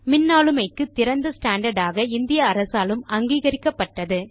மின்னாளுமைக்கு திறந்த ஸ்டாண்டார்ட் ஆக இந்திய அரசாலும் அங்கீகரிக்கப்பட்டது